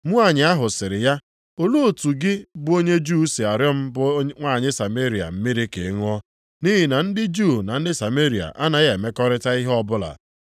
Nwanyị ahụ sịrị ya, “Olee otu gị bụ onye Juu si arịọ m bụ nwanyị Sameria mmiri ka ị ṅụọ?” (Nʼihi na ndị Juu na ndị Sameria anaghị emekọrịta ihe ọbụla.)